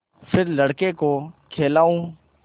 फिर लड़के को खेलाऊँ